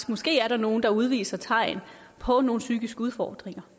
måske er der nogle der udviser tegn på nogle psykiske udfordringer